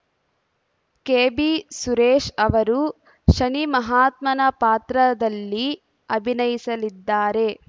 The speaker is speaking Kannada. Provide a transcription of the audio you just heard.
ಕೆಬಿಸುರೇಶ್ ಅವರು ಶನಿ ಮಹಾತ್ಮನ ಪಾತ್ರದಲ್ಲಿ ಅಭಿನಯಿಸಲಿದ್ದಾರೆ